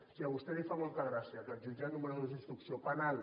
i a vostè li fa molta gràcia que el jutjat número dos d’instrucció penal